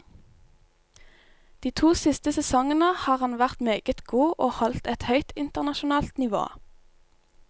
De to siste sesongene har han vært meget god og holdt et høyt internasjonalt nivå.